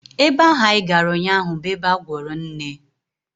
Ebe ahụ anyị gara ụnyaahụ bụ ebe a gwọrọ nne